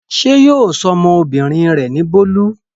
Ṣé yóò sọ ọmọbìnrin rẹ̀ ní Bólú?